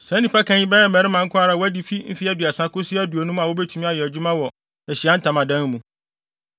Saa nnipakan yi bɛyɛ mmarima nko ara a wɔadi fi mfe aduasa kosi aduonum a wobetumi ayɛ adwuma wɔ Ahyiae Ntamadan mu.